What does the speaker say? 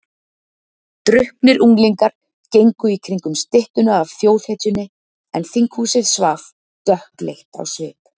Drukknir unglingar gengu í kringum styttuna af þjóðhetjunni en þinghúsið svaf, dökkleitt á svip.